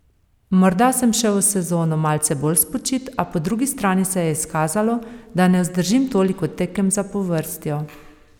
Morda sem šel v sezono malce bolj spočit, a po drugi strani se je izkazalo, da ne vzdržim toliko tekem zapovrstjo.